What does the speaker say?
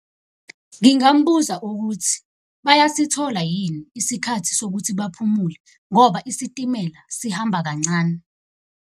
Ngingambuza ukuthi bayasithola yini isikhathi sokuthi baphumule ngoba isitimela sihamba kancane.